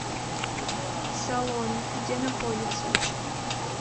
салон где находится